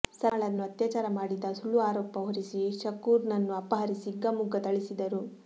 ಸಲ್ಮಾಳನ್ನು ಅತ್ಯಾಚಾರ ಮಾಡಿದ ಸುಳ್ಳು ಅರೋಪ ಹೊರಿಸಿ ಶಕೂರ್ನನ್ನು ಅಪಹರಿಸಿ ಹಿಗ್ಗಾಮುಗ್ಗಾ ಥಳಿಸಿದರು